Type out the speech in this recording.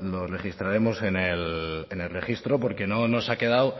lo registraremos en el registro porque no nos ha quedado